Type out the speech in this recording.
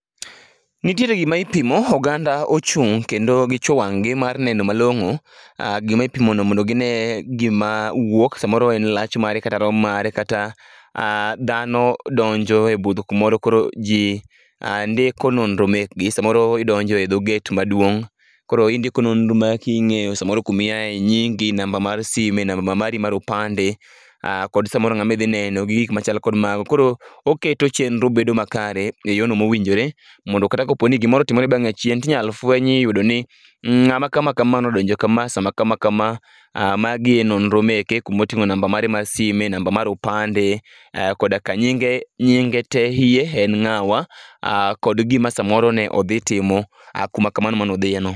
Nitiere gima itimo, oganda ochung' kendo gichwo wang'gi mar neno malong'o gima ipimono mondo gine gima , samoro en lach mare, kata rom mare, kata dhano donjo e budho kumoro, koro ji ndiko nonro mekgi. Samoro idonjo e dho gate maduong', koro indiko nonro maki ing'eyo samoro kuma iaye, nyingi , namba mar sime, namba ma mari mar opande, kod samoro ng'ama idhi neno gi gik ma chal kod mago. Koro , oketo chienro bedo makare e yono mowinjore mondo kata koponi gimoro otimore bang'e achien to inyalo fweny iyudo ni, ng'ama kama kama nodonjo kama sama kama kama. Magi e nonro meke kama oting'o namba mare mar sime, namba mar opande, koda ka nyinge te hie en ng'awa, kod gima samoro ne odhi timo kuma kamano mane odhiye no.